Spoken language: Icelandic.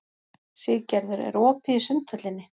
Siggerður, er opið í Sundhöllinni?